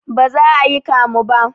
Baza ayi kamu ba